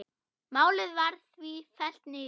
Málið var því fellt niður.